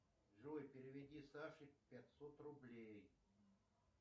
джой переведи саше пятьсот рублей